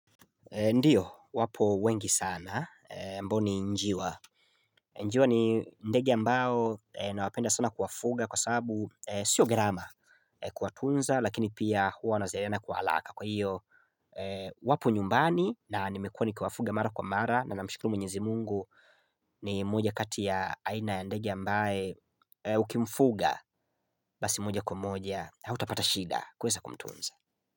Ndiyo wapo wengi sana mboni njiwa Njiwa ni ndege ambao nawapenda sana kuwafuga kwa sabu sio gharama kuwatunza lakini pia huwa wanazaliana kwa haraka kwa hiyo Wapo nyumbani na nimekuwa nikiwafuga mara kwa mara na namshukuru mwenyezi Mungu ni moja kati ya aina ya ndege ambae ukimfuga basi moja kwa moja hautapata shida kuweza kumtunza.